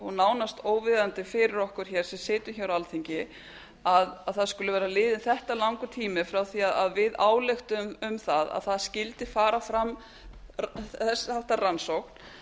og nánast óviðunandi fyrir okkur hér sem sitjum hér á alþingi að það skuli vera liðinn þetta langur tími frá því að við ályktuðum um það að það skyldi fara fram þess háttar rannsókn